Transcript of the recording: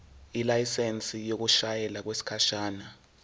ilayisensi yokushayela okwesikhashana